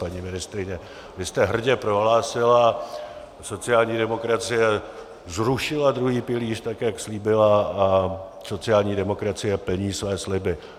Paní ministryně, vy jste hrdě prohlásila: sociální demokracie zrušila druhý pilíř, tak jak slíbila, a sociální demokracie plní své sliby.